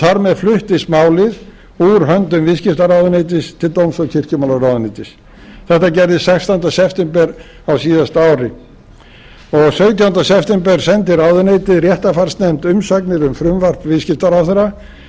þar með fluttist málið úr höndum viðskiptaráðuneytis til dóms og kirkjumálaráðuneytis þetta gerðist sextánda september á síðasta ári sautjánda september sendi ráðuneytið réttarfarsnefnd umsagnir um frumvarp viðskiptaráðherra með